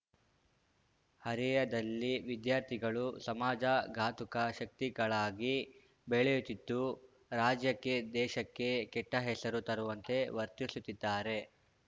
ಹರೆಯದಲ್ಲಿ ವಿದ್ಯಾರ್ಥಿಗಳು ಸಮಾಜ ಘಾತುಕ ಶಕ್ತಿಗಳಾಗಿ ಬೆಳೆಯುತ್ತಿದ್ದು ರಾಜ್ಯಕ್ಕೆ ದೇಶಕ್ಕೆ ಕೆಟ್ಟಹೆಸರು ತರುವಂತೆ ವರ್ತಿಸುತ್ತಿದ್ದಾರೆ